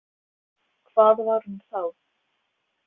Hvað var hún þá?